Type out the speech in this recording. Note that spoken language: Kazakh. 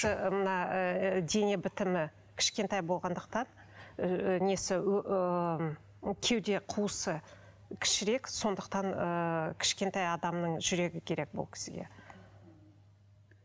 мына ы дене бітімі кішкентай болғандықтан ы несі ыыы кеуде қуысы кішірек сондықтан ыыы кішкентай адамның жүрегі керек бұл кісіге